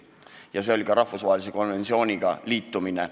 Ja see oli ka rahvusvahelise konventsiooniga liitumine.